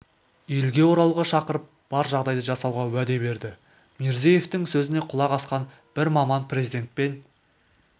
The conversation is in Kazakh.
елге оралуға шақырып бар жағдайды жасауға уәде берді мирзиеевтің сөзіне құлақ асқан бір маман президентпен